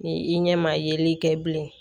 Ni i ɲɛ ma yeli kɛ bilen